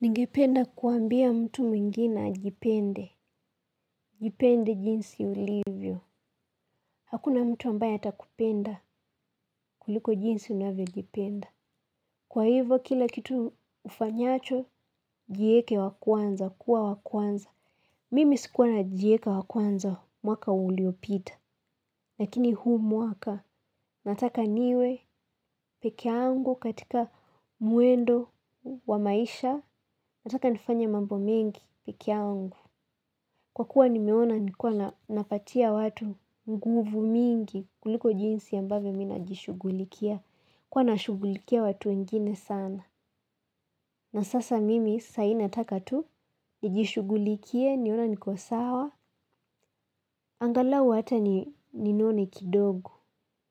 Ningependa kuambia mtu mwingine ajipende. Jipende jinsi ulivyo. Hakuna mtu ambaye atakupenda kuliko jinsi unavyojipenda. Kwa hivyo kila kitu ufanyacho, jieke wa kwanza, kuwa wa kwanza. Mimi sikuwa najieka wa kwanza mwaka uliopita. Lakini huu mwaka, nataka niwe pekee yangu katika mwendo wa maisha, nataka nifanya mambo mingi pekee yangu. Kwa kuwa nimeona nilikuwa napatia watu nguvu mingi kuliko jinsi ambavyo mimi najishughulikia. Nilikuwa nashugulikia watu wengine sana. Na sasa mimi sahi nataka tu, nijishughulikie, nione niko sawa, angalau hata ninone kidogo.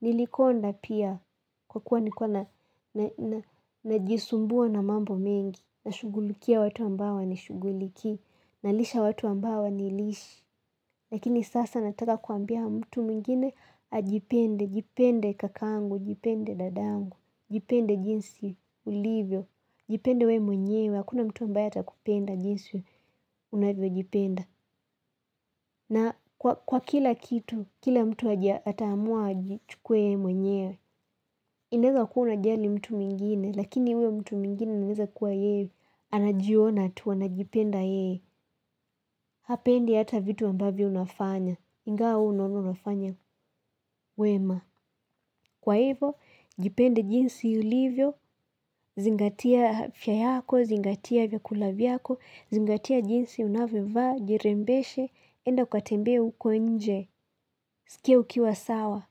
Nilikonda pia kwa kuwa nikuwa najisumbua na mambo mengi. Nashughulikia watu ambao hawanishugulikii. Nalisha watu ambao hawanilishi. Lakini sasa nataka kuambia mtu mwingine ajipende. Jipende kakangu, jipende dadangu, jipende jinsi ulivyo. Jipende wewe mwenyewe, hakuna mtu ambaya atakupenda jinsi unavyojipenda. Na kwa kila kitu, kila mtu ataamua ajichukue yeye mwenyewe. Unaeza kuwa unajali mtu mwingine, lakini huyo mtu mwingine anaeza kuwa yeye, anajiona tu anajipenda yeye, hapendi hata vitu ambavyo unafanya, ingawa wewe unaona unafanya wema. Kwa hivo, jipende jinsi ulivyo, zingatia afya yako, zingatia vyakula vyako, zingatia jinsi unavyovaa, jirembeshe, enda ukatembee huko nje, sikia ukiwa sawa.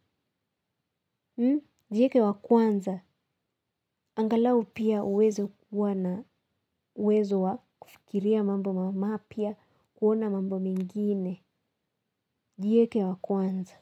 Jieke wa kwanza, angalau pia uweze kuwa na uwezo wa kufikiria mambo mapya kuona mambo mengine. Jieke wa kwanza.